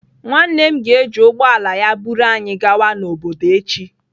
Nwanne m ga-eji ụgbọ ala ya buru anyị gawa n'obodo echi